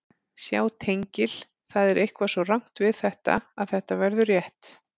Sjá tengil Það er eitthvað svo rangt við þetta að þetta verður rétt.